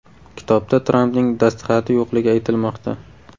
Kitobda Trampning dastxati yo‘qligi aytilmoqda.